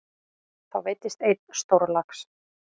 Þá veiddist einn stórlax.